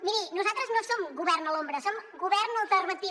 miri nosaltres no som govern a l’ombra som govern alternatiu